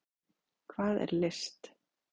Hvað er list?